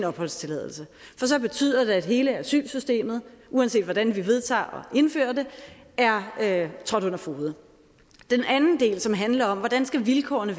opholdstilladelse for så betyder det at hele asylsystemet uanset hvordan vi vedtager at indføre det er trådt under fode den anden del som handler om hvordan vilkårene